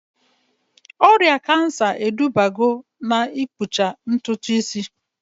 Ọrịa kansa edubago na-ikpụcha ntutu isi